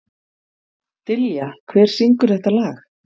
Dilja, hver syngur þetta lag?